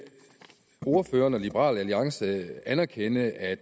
ordføreren og liberal alliance anerkende at